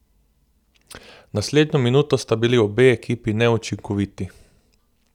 Naslednjo minuto sta bili obe ekipi neučinkoviti.